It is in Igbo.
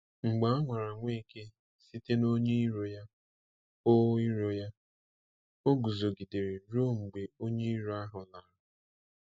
Mgbe a nwara Nweke site n’onye iro ya, o iro ya, o guzogidere ruo mgbe onye iro ahụ lara.